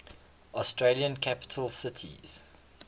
australian capital cities